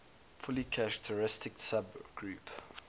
fully characteristic subgroup